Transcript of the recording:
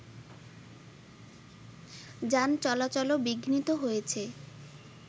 যান চলাচলও বিঘ্নিত হয়েছে